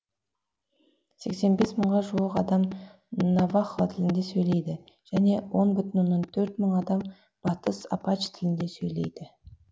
сексен бес мыңға жуық адам навахо тілінде сөйлейді және он бүтін оннан төрт мың адам батыс апач тілінде сөйлейді